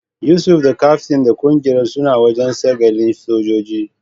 Yusuf da kaftin dan kungiyar suna wajen sagalin sojoji.